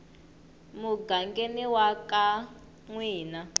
mugangeni wa ka n wina